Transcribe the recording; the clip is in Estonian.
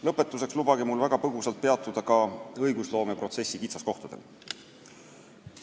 Lõpetuseks lubage mul väga põgusalt peatuda ka õigusloomeprotsessi kitsaskohtadel.